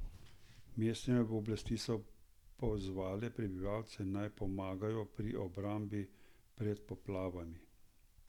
Mestne oblasti so pozvale prebivalce, naj pomagajo pri obrambi pred poplavami.